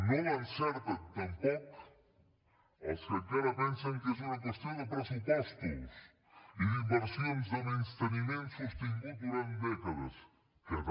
no l’encerten tampoc els que encara pensen que és una qüestió de pressupostos i d’inversions de menysteniment sostingut durant dècades que també